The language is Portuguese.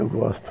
Eu gosto.